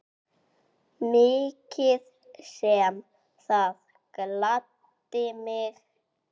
Mikið sem það gladdi mig.